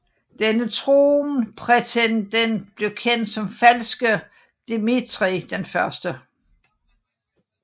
Denne tronprætendent blev kendt som Falske Dmitrij I